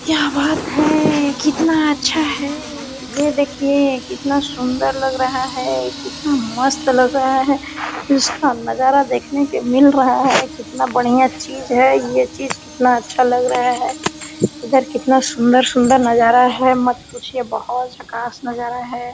क्या बात है कितना अच्छा है ये देखिये कितना सुन्दर लग रहा है कितना मस्त लग रहा है इसका नजारा देखने के मिल रहा है कितना बढ़िया चीज़ है ये चीज़ कितना अच्छा लग रहा है इधर कितना सुन्दर-सुन्दर नजारा है मत पूछिए बोहोत झक्कास नजारा है।